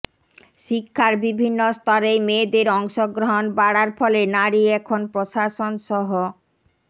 শিক্ষার বিভিন্ন স্তরেই মেয়েদের অংশগ্রহণ বাড়ার ফলে নারী এখন প্রশাসনসহ